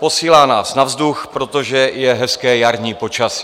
Posílá nás na vzduch, protože je hezké jarní počasí.